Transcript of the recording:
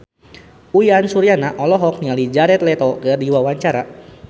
Uyan Suryana olohok ningali Jared Leto keur diwawancara